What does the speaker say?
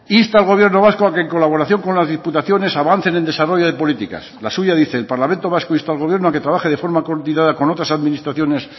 insta al gobierno vasco a que en colaboración con las diputaciones avancen en desarrollo de políticas la suya dice el parlamento vasco insta al gobierno a que trabaje de forma coordinada con otras administraciones